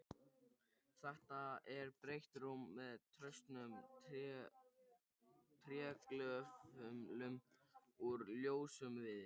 Þetta er breitt rúm með traustum trégöflum úr ljósum viði.